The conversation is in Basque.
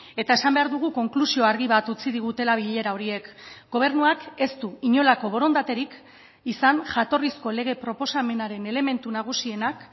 eta esan behar dugu konklusio argi bat utzi digutela bilera horiek gobernuak ez du inolako borondaterik izan jatorrizko lege proposamenaren elementu nagusienak